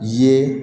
Ye